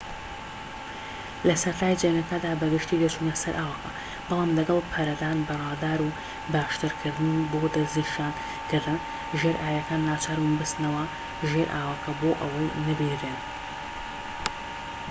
لە سەرەتای جەنگەکەدا بە گشتی دەچونە سەر ئاوەکە بەڵام لەگەڵ پەرەدان بە ڕادار و باشترکارکردنی بۆ دەستنیشانکردن ژێرئاویەکان ناچاربوون بچنەوە ژێر ئاوەکە بۆ ئەوەی نەبینرێن